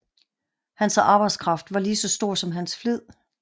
Hans arbejdskraft var lige så stor som hans flid